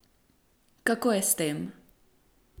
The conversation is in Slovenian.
Kako je s tem?